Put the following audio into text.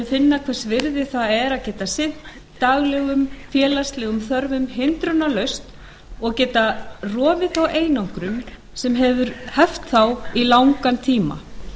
finna hvers virði það er að geta sinnt daglegum félagslegum þörfum hindrunarlaust og geta rofið þá einangrun sem hefur heft þá í langan tíma